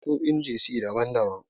Akwai nau'o'in Jasi daban-daban.